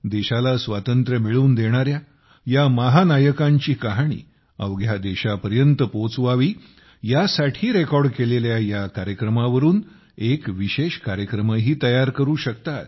देशाला स्वातंत्र्य मिळवून देणाऱ्या या महानायकांची कहाणी अवघ्या देशापर्यंत पोहोचवावी यासाठी रेकॉर्ड केलेल्या कार्यक्रमावरून एक विशेष कार्यक्रमही तयार करू शकतात